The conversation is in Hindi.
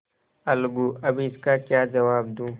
अलगूअब इसका क्या जवाब दूँ